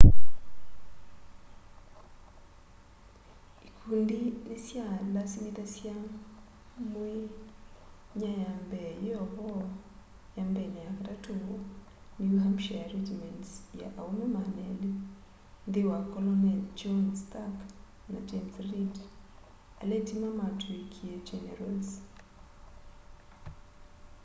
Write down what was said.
ĩkũndĩ nĩ sya lasĩmĩthasya mwĩ nya ya mbee yĩovo 1st na 3rd new hampshĩre regĩments ya aũme 200 nthĩ wa kolonel john stark na james reed ala ĩtĩma nĩmatwĩkĩe generals